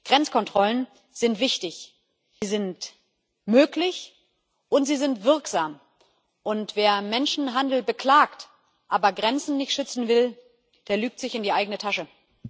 Grenzkontrollen sind wichtig, sie sind möglich und sie sind wirksam, und wer Menschenhandel beklagt, aber Grenzen nicht schützen will, der lügt sich in die eigene Tasche.